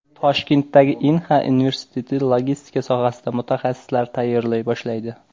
Toshkentdagi Inha universiteti logistika sohasida mutaxassislar tayyorlay boshlaydi.